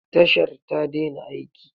Tashar ta daina aiki.